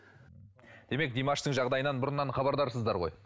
демек димаштың жағдайынан бұрыннан хабардарсыздар ғой